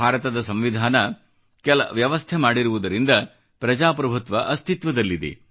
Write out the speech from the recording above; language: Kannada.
ಭಾರತದ ಸಂವಿಧಾನ ಕೆಲ ವ್ಯವಸ್ಥೆ ಮಾಡಿರುವುದರಿಂದ ಪ್ರಜಾಪ್ರಭುತ್ವ ಅಸ್ತಿತ್ವದಲ್ಲಿದೆ